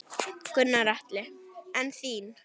Gunnar Atli: En þín?